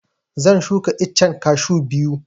Zan shuka iccen kashu biyu